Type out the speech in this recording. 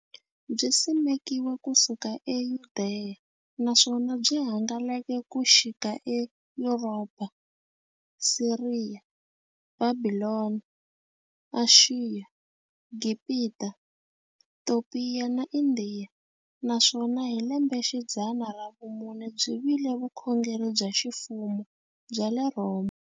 Byisimekiwe ku suka eYudeya, naswona byi hangalake ku xika eYuropa, Siriya, Bhabhilona, Ashiya, Gibhita, Topiya na Indiya, naswona hi lembexidzana ra vumune byi vile vukhongeri bya ximfumo bya le Rhoma.